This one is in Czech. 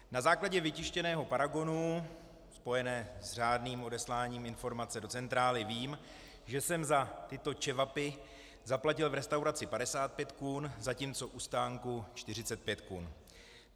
Na základě vytištěného paragonu spojeného s řádným odesláním informace do centrály vím, že jsem za tyto čevapy zaplatil v restauraci 55 kun, zatímco u stánku 45 kun.